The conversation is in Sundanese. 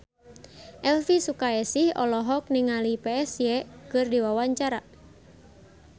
Elvy Sukaesih olohok ningali Psy keur diwawancara